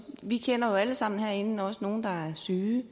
vi kender jo alle sammen herinde også nogle der er syge